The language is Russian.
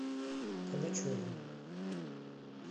калачеве